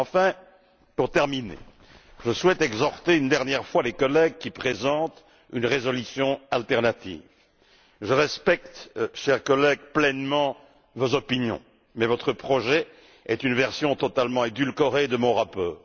Enfin, pour terminer, je souhaite m'adresser une dernière fois aux collègues qui présentent une résolution alternative. Je respecte, chers collègues, pleinement vos opinions, mais votre projet est une version totalement édulcorée de mon rapport.